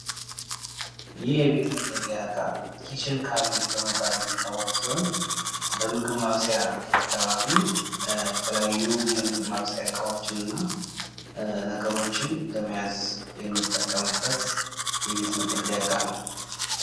ይህ የቤት መገልገያ እቃ ኪችን ካቢኔት የሚባል ሲሆን፤ በምግብ ማብሰያ አካባቢ የምግብ ማብሰያ እቃዎችን ለመያዝ የምንጠቀምበት የቤት ውስጥ መገልገያ እቃ ነው።